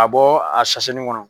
Ka bɔ a sasennin kɔnɔ